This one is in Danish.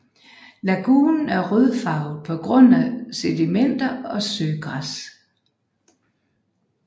Lagunen er rødfarvet på grund af sedimenter og søgræs